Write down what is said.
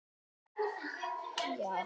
Hausinn ofan í bringu.